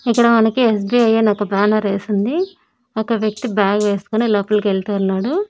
ఇక్కడ మనకి ఏస్_బీ_ఐ అని ఒక బ్యానర్ ఏసుంది ఒక వ్యక్తి బ్యాగ్ వేసుకొని లోపలకి వెళ్తూ ఉన్నాడు.